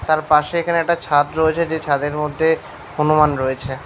তার পাশে এখানে একটা ছাদ রয়েছে যে ছাদের মধ্যে হনুমান রয়েছে।